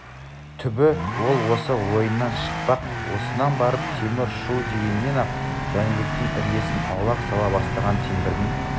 түбі ол осы ойынан шықпақ осыдан барып темір шу дегеннен-ақ жәнібектен іргесін аулақ сала бастаған темірдің